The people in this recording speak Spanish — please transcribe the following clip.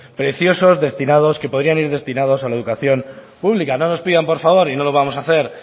preciosos destinados que podrían ir destinados a la educación pública no nos pidan por favor y no lo vamos hacer